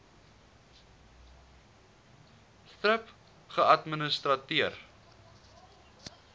thrip geadministreer